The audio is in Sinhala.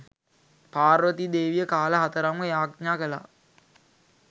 පාර්වතී දේවිය කාල හතරක්ම යාඥා කළාය